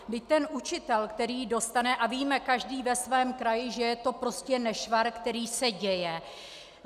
Vždyť ten učitel, který dostane, a víme každý ve svém kraji, že je to prostě nešvar, který se děje.